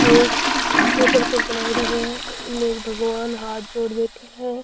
एक टेबल पे बनायोडी है इमें एक भगवान हाँथ जोड़ बैठ्या है।